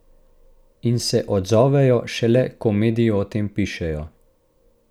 In se odzovejo šele, ko mediji o tem pišejo.